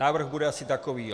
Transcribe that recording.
Návrh bude asi takový.